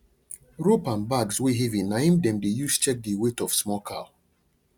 rope and bags wey heavy na im dem dey use check the weight of small cow